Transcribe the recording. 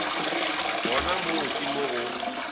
gona moo ke mo go